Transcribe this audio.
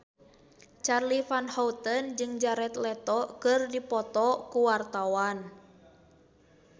Charly Van Houten jeung Jared Leto keur dipoto ku wartawan